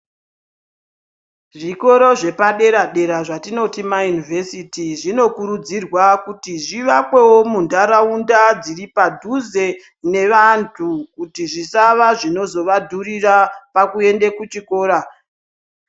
Zvitoro zvepadera-dera zvatinoti mayunivhesiti, zvinokurudzirwa kuti zvivakwewo muntaraunda dziri padhuze nevantu, kuti zvisava zvinozovadhurira pakuende kuchikora.